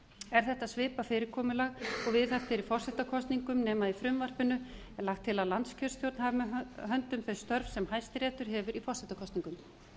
er þetta svipað fyrirkomulag og viðhaft er í forsetakosningum nema í frumvarpinu er lagt til að landskjörstjórn hafi með höndum þau störf sem hæstiréttur hefur í forsetakosningum